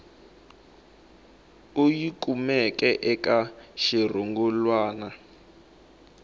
u yi kumeke eka xirungulwana